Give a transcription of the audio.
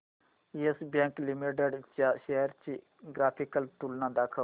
yes Bank limited च्या shares ची graphical तुलना दाखव